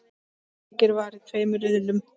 Leikið var í tveimur riðlum.